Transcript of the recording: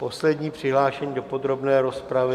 Poslední přihlášený do podrobné rozpravy.